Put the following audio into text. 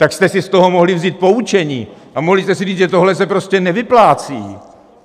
Tak jste si z toho mohli vzít poučení a mohli jste si říct, že tohle se prostě nevyplácí.